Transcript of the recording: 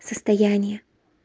состояние